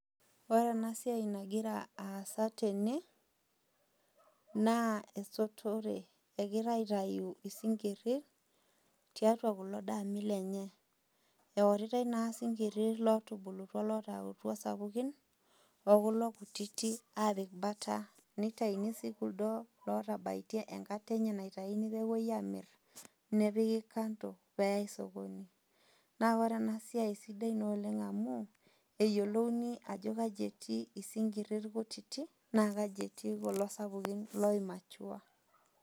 Ore ena siai nagira aasa tene naa esotore, egirai aitayu isinkirir, tiatua kulo daami lenye, eoritoi naa isinkirir otubulutwa olataakutua sapukin o kulo lkutiti apik bata, neitaini sii sininche kuldo otabaitie enkaitie enkata enye naitayuni pee epuoi aamir, nepiki kando pee eyai sokoni, naa ore ena siai naa sidai naa amu eyiolouni ajo aji etii isinkirir kutitik naa kaji etii kulo sapukin oimachua.